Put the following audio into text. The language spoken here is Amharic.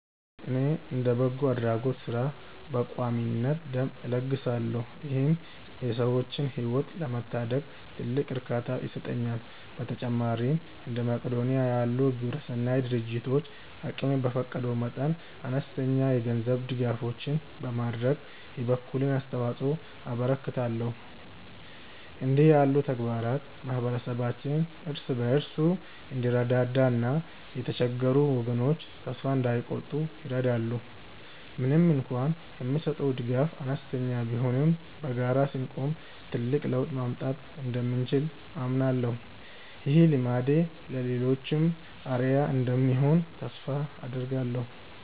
እኔ እንደ በጎ አድራጎት ሥራ በቋሚነት ደም እለግሳለሁ ይህም የሰዎችን ሕይወት ለመታደግ ትልቅ እርካታ ይሰጠኛል። በተጨማሪም እንደ መቅዶንያ ላሉ ግብረሰናይ ድርጅቶች አቅሜ በፈቀደ መጠን አነስተኛ የገንዘብ ድጋፎችን በማድረግ የበኩሌን አስተዋጽኦ አበረክታለሁ። እንዲህ ያሉ ተግባራት ማኅበረሰባችን እርስ በርሱ እንዲረዳዳና የተቸገሩ ወገኖች ተስፋ እንዳይቆርጡ ይረዳሉ። ምንም እንኳን የምሰጠው ድጋፍ አነስተኛ ቢሆንም በጋራ ስንቆም ትልቅ ለውጥ ማምጣት እንደምንችል አምናለሁ። ይህ ልማዴ ለሌሎችም አርአያ እንደሚሆን ተስፋ አደርጋለሁ።